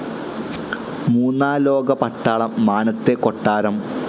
മൂന്നാലോക പട്ടാളം, മാനത്തെ കൊട്ടാരം